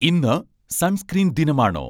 ഇന്ന് സൺസ്ക്രീൻ ദിനമാണോ